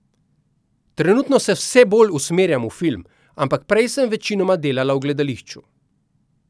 Trenutno se vse bolj usmerjam v film, ampak prej sem večinoma delala v gledališču.